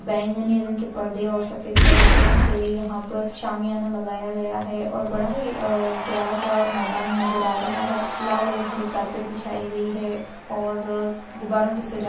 बैंगनी रंग के परदे और सफेद पर्दो से यहाँ पर शामियाना लगाया गया है और बड़ा ही आ प्यारा सा मैदान नजर आ रहा है लाल और हरी कारपेट बिछाई गई है और गुबारों से सजाया --